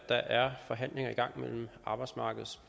er herre rasmus